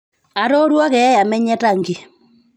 aatooruo keeya menye tangy